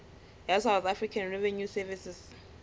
ya south african revenue service